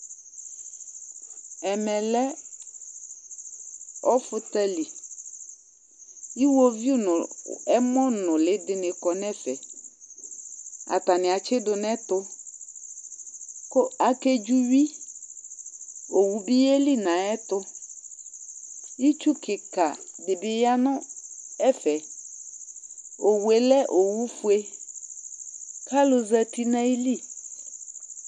ɛmɛ lɛ ɔfutali, iwoviu nu ɛmɔ nuli dini kɔ nu ɛfɛ, ata ni atsidu nu ɛtu, ku ake dzuwui, owu bi yeli nayɛtu itsu kika di bi ya nu ɛfɛ, Owue lɛ owu fue kalu zati nu ayili